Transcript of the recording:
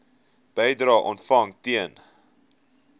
bedrae ontvang ten